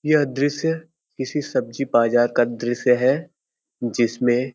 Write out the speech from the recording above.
यह दृश्य किसी सब्जी बाजार का दृश्य है। जिसमें --